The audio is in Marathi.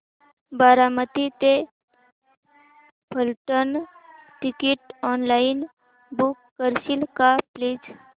बारामती ते फलटण टिकीट ऑनलाइन बुक करशील का प्लीज